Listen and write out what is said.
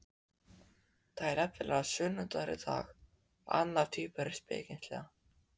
Það er nefnilega sunnudagur í dag sagði annar tvíburinn spekingslega.